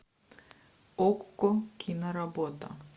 окко киноработа